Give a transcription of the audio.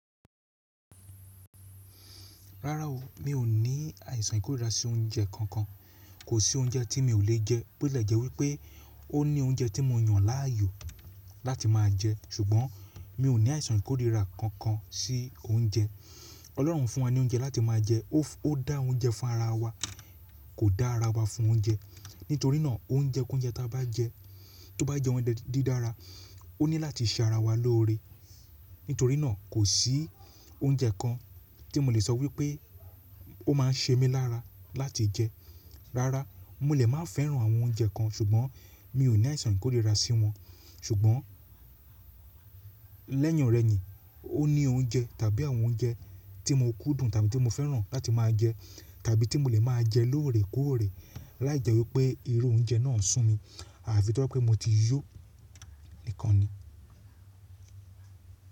Rárá o, mi ò ní àìsàn ìkórìíra sí oúnjẹ kankan. Kò sí oúnjẹ tí mi ò lè jẹ. Bíótilẹ̀ jẹ́ wípẹ́ ó ní oúnjẹ tí mo yàn láàyò láti máa jẹ ṣùgbọ́n mi ò ní àìsàn ìkórìíra kankan sí oúnjẹ. Ọlọ́run fún wa ní oúnjẹ láti máa jẹ. Ó dá oúnjẹ fún ara wa, kò dá ara wa fún oúnjẹ. Nítorí náà oúnjẹ k’oúnjẹ tí a bá ń jẹ tó bá jẹ oúnjẹ dídára, ó ní láti ṣe ara wa lóore. Nítorí náà kò sí oúnjẹ kan tí mo lè sọ wípẹ́ ó máa ń ṣe mí lára láti jẹ. Rárá, mo lè máa fẹ́ràn àwọn oúnjẹ kan ṣùgbọ́n mi ò ní àìsàn ìkórìíra sí wọn. Ṣùgbọ́n lẹ́yìn ọ̀rẹyìn, ó ní oúnjẹ tàbí àwọn oúnjẹ tí mo kúndùn tàbí tí mo fẹ́ràn láti máa jẹ tàbí tí mo lè máa jẹ lóore kóóre láìjẹ́ wípẹ́ irú oúnjẹ náà ń sùn mí àfi tó bá jẹ́ wípé mo ti yó nìkan ni.